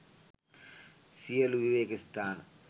සියලු විවේක ස්ථාන